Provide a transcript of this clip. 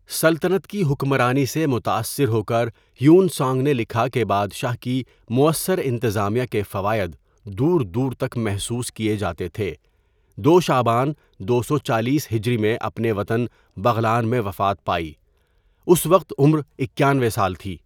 سلطنت کی حکمرانی سے متاثر ہوکر ہیون سانگ نے لکھا کہ بادشاہ کی موثر انتظامیہ کے فوائد دور دور تک محسوس کیے جاتے تھے ۲شعبان ۲۴۰ھ میں اپنے وطن بغلان میں وفات پائی، اس وقت عمر ۹۱ سال تھی.